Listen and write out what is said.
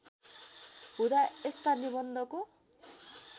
हुँदा यस्ता निबन्धको